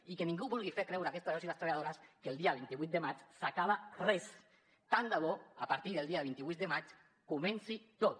i que ningú vulgui fer creure a aquests treballadors i treballadores que el dia vint vuit de maig s’acaba res tant de bo a partir del dia vint vuit de maig comenci tot